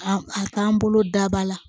A a k'an bolo daba la